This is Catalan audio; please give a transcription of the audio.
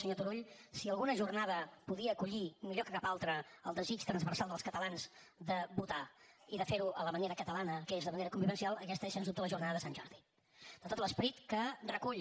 senyor turull si alguna jornada podia acollir millor que cap altra el desig transversal dels catalans de votar i de fer ho a la manera catalana que és de manera convivencial aquesta és sens dubte la jornada de sant jordi de tot l’esperit que recull